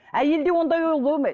әйелде ондай ой болмайды